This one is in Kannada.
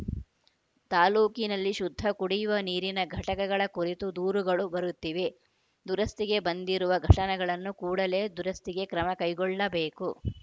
ತಾಲೂಕಿನಲ್ಲಿ ಶುದ್ಧ ಕುಡಿಯುವ ನೀರಿನ ಘಟಕಗಳ ಕುರಿತು ದೂರುಗಳು ಬರುತ್ತಿವೆ ದುರಸ್ತಿಗೆ ಬಂದಿರುವ ಘಟನಗಳನ್ನು ಕೂಡಲೇ ದುರಸ್ತಿಗೆ ಕ್ರಮ ಕೈಗೊಳ್ಳಬೇಕು